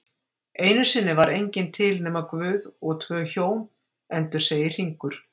Einusinni var enginn til nema Guð og tvö Hjón, endursegir Hringur